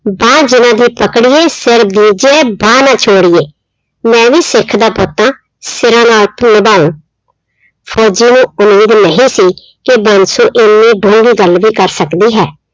ਬਾਂਹ ਜਿਹਨਾਂ ਦੀ ਪਕੜੀਏ ਸਿਰ ਦੀਜੀਏ ਬਾਂਹ ਨਾ ਛੋੜੀਏ, ਮੈਂ ਵੀ ਸਿੱਖ ਦਾ ਪੁੱਤ ਹਾਂ ਸਿਰਾਂ ਨਾਲ ਨਿਬਾਹੂੰ, ਫ਼ੋਜ਼ੀ ਨੂੰ ਉਮੀਦ ਨਹੀਂ ਸੀ ਕਿ ਬਾਂਸੋ ਇੰਨੀ ਡੂੰਘੀ ਗੱਲ ਵੀ ਕਰ ਸਕਦੀ ਹੈ।